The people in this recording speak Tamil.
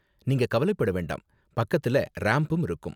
நீங்க கவலப்பட வேண்டாம், பக்கத்துல ரேம்ப்பும் இருக்கும்.